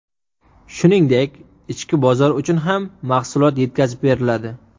Shuningdek, ichki bozor uchun ham mahsulot yetkazib beriladi.